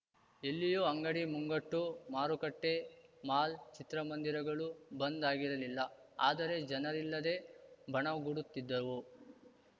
ಎಲ್ಲಿಯೂ ಅಂಗಡಿ ಮುಂಗಟ್ಟು ಮಾರುಕಟ್ಟೆ ಮಾಲ್‌ ಚಿತ್ರಮಂದಿರಗಳು ಬಂದ್‌ ಆಗಿರಲಿಲ್ಲ ಆದರೆ ಜನರಿಲ್ಲದೆ ಬಣಗುಡುತ್ತಿದ್ದವು